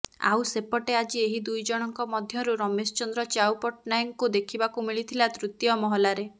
ଆଉ ସେପଟେ ଆଜି ଏହି ଦୁଇଜଣଙ୍କ ମଧ୍ୟରୁ ରମେଶ ଚନ୍ଦ୍ର ଚ୍ୟାଉ ପଟ୍ଟନାୟକଙ୍କୁ ଦେଖିବାକୁ ମିଳିଥିଲା ତୃତୀୟ ମହଲାରେ